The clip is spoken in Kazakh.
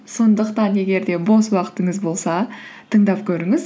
сондықтан егер де бос уақытыңыз болса тыңдап көріңіз